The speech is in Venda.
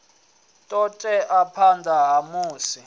ṱo ḓea phanḓa ha musi